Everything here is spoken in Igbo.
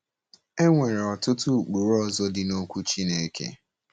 E nwere ọtụtụ ụkpụrụ ọzọ dị n’Okwu Chineke.